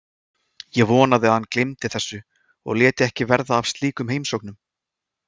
Ég vonaði að hann gleymdi þessu og léti ekki verða af slíkum heimsóknum.